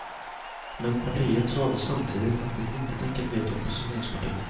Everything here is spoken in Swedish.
Men partiet sade samtidigt att det inte tänker bli ett oppositionsparti.